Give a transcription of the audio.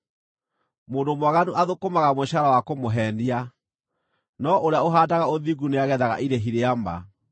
Mũndũ mwaganu athũkũmaga mũcaara wa kũmũheenia, no ũrĩa ũhaandaga ũthingu nĩagethaga irĩhi rĩa ma.